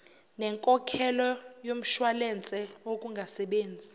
nenkokhelo yomshwalense wokungasebenzi